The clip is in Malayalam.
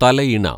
തലയിണ